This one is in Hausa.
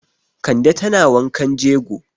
Kande tana wankan jego.